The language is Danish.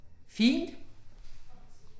Fint